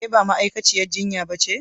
Ke ba ma'aikaciyar jinya ba ce?